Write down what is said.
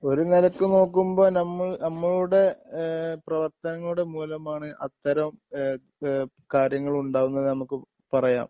ഒരു നിലയ്ക്ക് നോക്കുമ്പോ ഞമ്മൾ നമ്മളുടെ ഏഹ് പ്രവർത്തനങ്ങളുടെ മൂലമാണ് അത്തരം ഏഹ് ഏഹ് കാര്യങ്ങൾ ഉണ്ടാകുന്നത് നമുക്ക് പറയാം